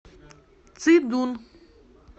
цидун